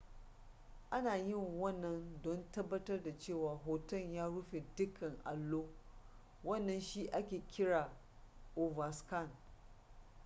ana yin wannan don tabbatar da cewa hoton ya rufe dukkan allo wannan shi ake kira overscan